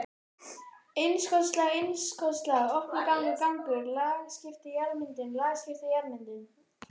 innskotslag innskotslag opnur gangur gangur lagskipt jarðmyndun lagskipt jarðmyndun.